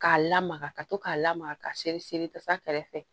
K'a lamaga ka to k'a lamaga k'a seri seri tasa kɛrɛfɛ